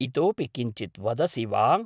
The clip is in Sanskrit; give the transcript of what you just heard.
इतोऽपि किञ्चित् वदसि वा?